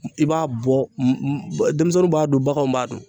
I b'a bɔ denmisɛnninw b'a dun, baganw b'a dun.